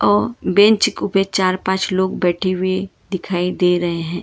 और बेंच को पे चार पांच लोग बैठे हुए दिखाई दे रहे हैं।